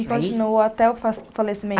E continuou até o fa falecimento.